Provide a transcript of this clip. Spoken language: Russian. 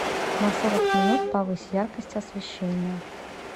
на сорок минут повысь яркость освещения